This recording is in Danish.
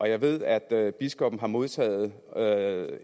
jeg ved at biskoppen har modtaget